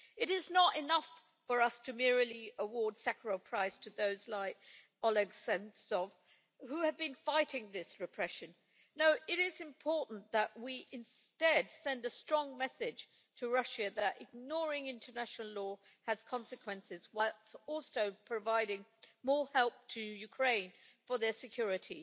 It is not enough for us to merely award the Sakharov Prize to those who, like Oleg Sentsov, have been fighting this repression. No, it is important that we instead send a strong message to Russia that ignoring international law has consequences, whilst also providing more help to Ukraine for their security.